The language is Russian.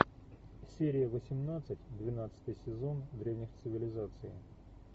серия восемнадцать двенадцатый сезон древних цивилизаций